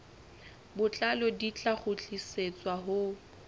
botlalo di tla kgutlisetswa ho